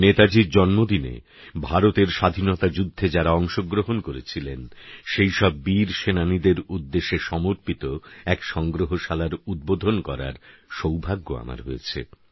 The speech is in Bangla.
নেতাজীর জন্মদিনে ভারতের স্বাধীনতা যুদ্ধে যাঁরা অংশগ্রহণ করেছিলেন সেইসব বীরসেনানীদের উদ্দেশে সমর্পিত এক সংগ্রহশালার উদ্বোধন করার সৌভাগ্য আমার হয়েছে